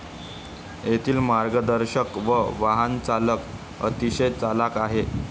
येथील मार्गदर्शक व वाहनचालक अतिशय चलाख आहेत.